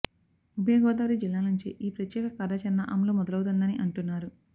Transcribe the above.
ఉభయ గోదావరి జిల్లాల నుంచే ఈ ప్రత్యేక కార్యాచరణ అమలు మొదలౌతుందని అంటున్నారు